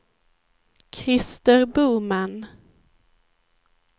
Krister Boman